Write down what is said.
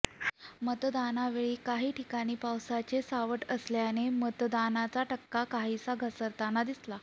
मतदानावेळी काही ठिकाणी पावसाचे सावट असल्याने मतदानाचा टक्का काहीसा घसरताना दिसला